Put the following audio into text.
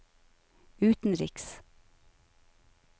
utenriks